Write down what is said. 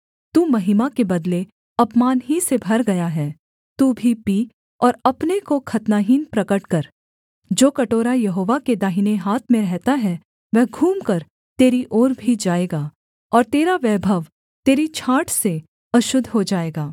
तू महिमा के बदले अपमान ही से भर गया है तू भी पी और अपने को खतनाहीन प्रगट कर जो कटोरा यहोवा के दाहिने हाथ में रहता है वह घूमकर तेरी ओर भी जाएगा और तेरा वैभव तेरी छाँट से अशुद्ध हो जाएगा